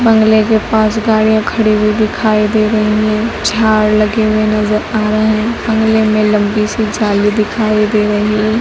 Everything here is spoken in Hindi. बंगले के पास गाड़ियां खड़ी हुई दिखाई दे रही हैं झाड़ लगे हुए नजर आ रहे हैं बंगले में लंबी सी जाली दिखाई दे रही है।